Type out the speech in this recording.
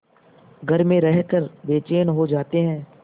घर में रहकर बेचैन हो जाते हैं